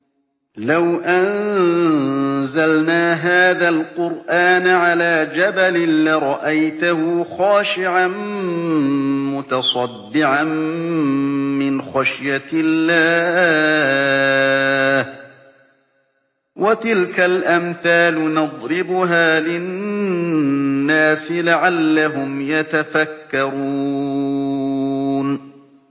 لَوْ أَنزَلْنَا هَٰذَا الْقُرْآنَ عَلَىٰ جَبَلٍ لَّرَأَيْتَهُ خَاشِعًا مُّتَصَدِّعًا مِّنْ خَشْيَةِ اللَّهِ ۚ وَتِلْكَ الْأَمْثَالُ نَضْرِبُهَا لِلنَّاسِ لَعَلَّهُمْ يَتَفَكَّرُونَ